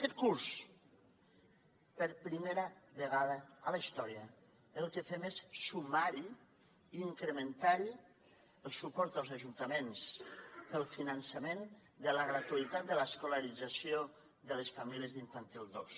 aquest curs per primera vegada a la història el que fem és sumar hi i incrementar hi el suport als ajuntaments per al finançament de la gratuïtat de l’escolarització de les famílies d’infantil dos